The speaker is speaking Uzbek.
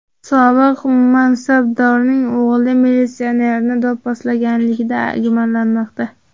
Sobiq mansabdorning o‘g‘li militsionerni do‘pposlaganlikda gumonlanmoqda.